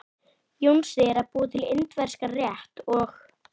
Jónsi er að útbúa indverskan rétt og.